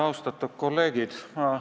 Austatud kolleegid!